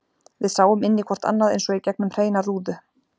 Við sáum inn í hvort annað eins og í gegnum hreina rúðu.